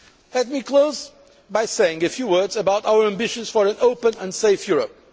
Let me close by saying a few words about our ambitions for an open and safe Europe.